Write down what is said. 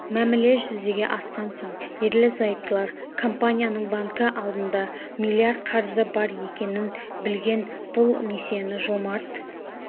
мәміле жүзеге асқан соң ерлі-зайыптылар компанияның банкі алдында млрд қарызы бар екенін білген бұл несиені жомарт